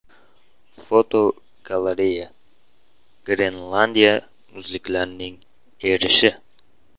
Fotogalereya: Grenlandiya muzliklarining erishi.